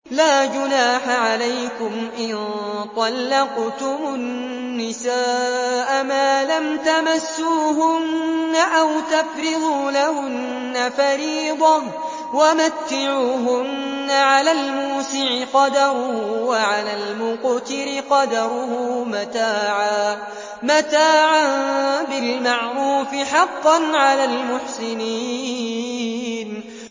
لَّا جُنَاحَ عَلَيْكُمْ إِن طَلَّقْتُمُ النِّسَاءَ مَا لَمْ تَمَسُّوهُنَّ أَوْ تَفْرِضُوا لَهُنَّ فَرِيضَةً ۚ وَمَتِّعُوهُنَّ عَلَى الْمُوسِعِ قَدَرُهُ وَعَلَى الْمُقْتِرِ قَدَرُهُ مَتَاعًا بِالْمَعْرُوفِ ۖ حَقًّا عَلَى الْمُحْسِنِينَ